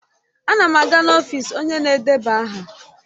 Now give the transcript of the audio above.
Ana m aga n'ọfịs onye na-edeba aha.